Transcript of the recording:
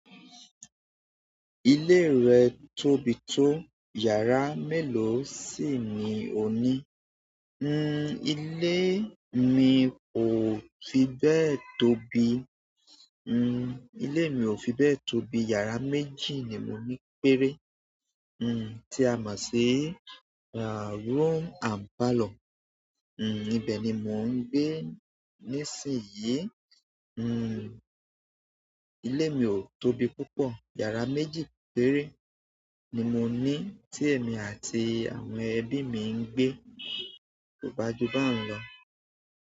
Ilé rẹ tóbi tó, yàrá mélòó sì ni o ní? Ile mi o fi be tóbi, ile mi o fibe tóbi. Yàrá méjì ni mo ní péré. Nn, tí a máa ń ṣi, rà room and parlour. Nn, ibẹ̀ ni mò ń gbe nísìnyí. Nn, ilé mi ò tóbi púpọ̀. Yàrá mẹ́ji péré ni mo ní tí èmi àti àwọn ẹbí mi ń gbé ko gbaju baun lọ.